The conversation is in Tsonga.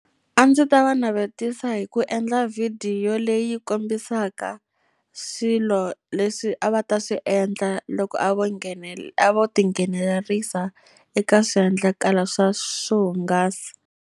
A ndzi ta va navetisa hi ku endla video leyi kombisaka swilo leswi a va ta swi endla loko a vo a vo tinghenelerisa eka swiendlakalo swa swo hungasa.